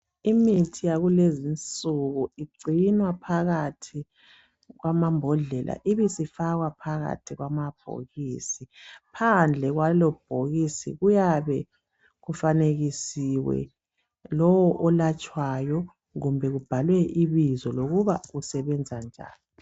Imithi yakulezi insuku ingcinwa phakathi kwamambhodlela ibisifakwa phakathi kwamabhokisi. Phandle kwalobhokisi kuyabe kufanekisiwe lowo olatshwayo kumbe kubhalwe lokuba usebenza njani.